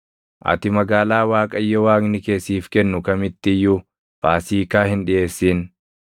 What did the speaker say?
Ati magaalaa Waaqayyo Waaqni kee siif kennu kamitti iyyuu Faasiikaa hin dhiʼeessin;